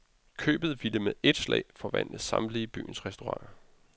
Købet ville med et slag forvandle samtlige byens restauranter.